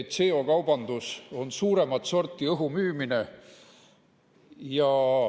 CO2 kaubandus on suuremat sorti õhumüümine.